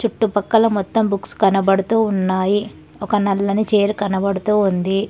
చుట్టుపక్కల మొత్తం బుక్స్ కనబడుతూ ఉన్నాయి ఒక నల్లని చీర కనబడుతూ ఉంది.